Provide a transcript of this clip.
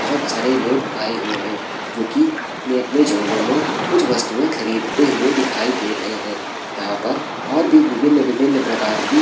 बहुत सारे लोग आए हुए है जो की अपने-अपने झोलो में कुछ वस्तुएं खरीदते हुए दिखाई दे रहे हैं यहाँ पर और भी विभिन्न-विभिन्न प्रकार की --